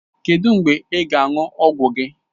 Kedụ mgbe ị ga-aṅụ ọgwụ gị?